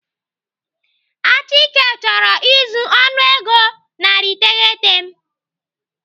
Achike chọrọ izu ọnụego narị iteghete m